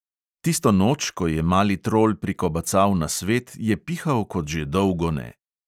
Tisto noč, ko je mali trol prikobacal na svet, je pihal kot že dolgo ne.